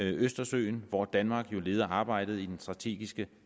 østersøen hvor danmark jo leder arbejdet i helsingforskommissionen den strategiske